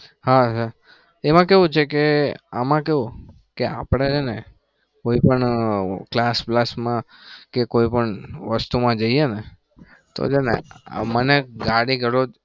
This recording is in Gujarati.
હા એમાં કેવું છે કે આમાં કેવું કે આપણે હે ને કોઈ પણ class બ્લાસ માં કે કોઈ પણ વસ્તુમાં જઈએ ને તો ગમે મને ગાડી દરોજ